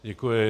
Děkuji.